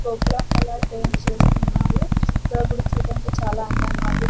గోపురం colour paints వేస్తున్నారు ఇక్కడ గుడి చూడ్డానికి చాలా అందంగా ఉంది.